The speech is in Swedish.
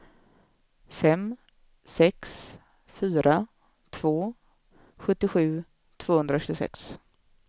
fem sex fyra två sjuttiosju tvåhundratjugosex